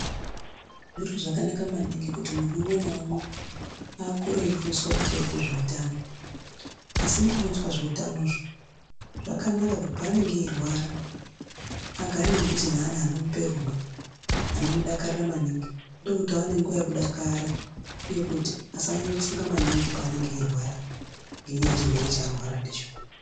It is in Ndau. Zviro zvakanaka maningi kuti munhu umwe naumwe akure eifundiswa pamusoro pezveutano . Asi mukufundiswa zveutanozvo zvakanaka kuti panenge eirwara agare mudhuze neanhu anomupe rudo anomudakarira maningi ndokuti aone nguwa yekudakara uye kuti asanyanye kufunga maningi panenge eirwara ngenyaya yechirwere chanorwara ndicho.